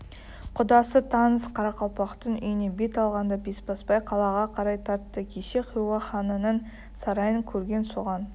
құдасы таныс қарақалпақтың үйіне бет алғанда бесбасбай қалаға қарай тартты кеше хиуа ханының сарайын көрген соған